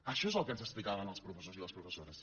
això és el que ens explicaven els professors i les professores